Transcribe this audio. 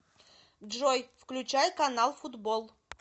джой включай канал футбол